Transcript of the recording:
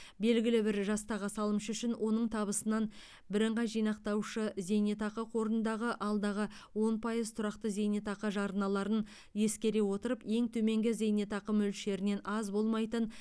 белгілі бір жастағы салымшы үшін оның табысынан бірыңғай жинақтаушы зейнетақы қорындағы алдағы он пайыз тұрақты зейнетақы жарналарын ескере отырып ең төменгі зейнетақы мөлшерінен аз болмайтын